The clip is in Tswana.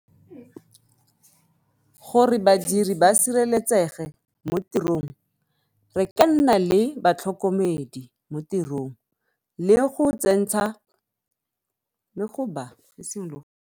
Gore badiri ba sireletsege mo tirong, re ka nna le batlhokomedi mo tirong le go tsentsha .